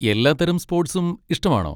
എല്ലാ തരം സ്പോട്സും ഇഷ്ടമാണോ?